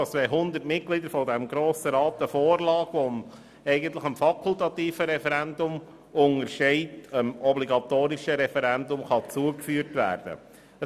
Die KV sieht vor, dass eine Vorlage, die eigentlich dem fakultativen Referendum untersteht, dem obligatorischen Referendum zugeführt werden kann, wenn 100 Mitglieder des Grossen Rats dies wollen.